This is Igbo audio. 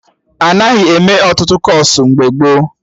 Anaghị eme Ọtụtụ kọọsụ mgbe gboo